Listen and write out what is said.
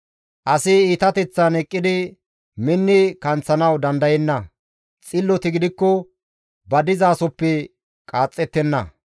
Asi iitateththan eqqidi minni kanththanawu dandayenna; xilloti gidikko ba dizasoppe qaaxxettenna.